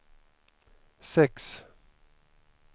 sex